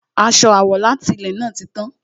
Aṣọ àwọ̀ láti ilè náà ti tán